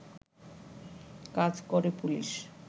কাজ করে পুলিশ